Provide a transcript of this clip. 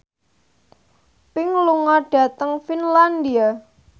Pink lunga dhateng Finlandia